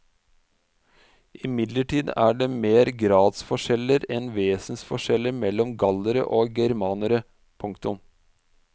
Imidlertid er det mer gradsforskjeller enn vesensforskjeller mellom gallere og germanere. punktum